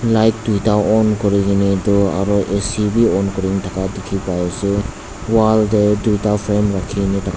light duta on kori kene etu aru a. c b on kori kena thakka dekhi pai ase wall te duta frame rakhi kene thak--